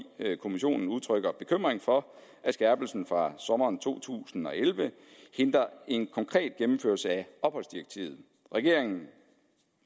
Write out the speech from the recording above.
kommissionen udtrykker bekymring for at skærpelsen fra sommeren to tusind og elleve hindrer en konkret gennemførelse af opholdsdirektivet regeringen